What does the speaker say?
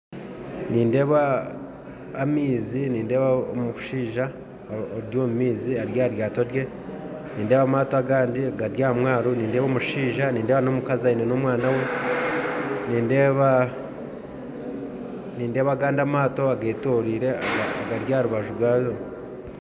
Nindeeba amaizi nindeeba omushaija ari omumaizi ari aha ryaato rye nindeeba amaato agandi gari aha mwaro nindeeba omushaija nindeeba n'omukazi aine n'omwaana we nindeeba nindeeba agandi amaato agetoreire agari aharubaju gago